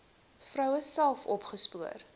vroue self opgespoor